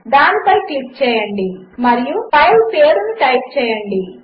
దానిపైక్లిక్చేయండిమరియుఫైల్పేరునుటైప్చేయండి